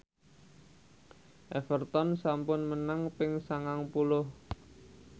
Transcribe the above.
Everton sampun menang ping sangang puluh